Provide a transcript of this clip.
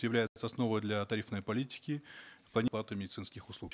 является основой для тарифной политики медицинских услуг